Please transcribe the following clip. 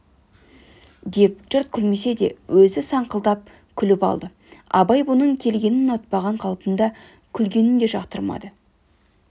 деп жұрт күлмесе де өзі саңқылдап күліп алды абай бұның келгенін ұнатпаған қалпында күлгенін де жақтырмады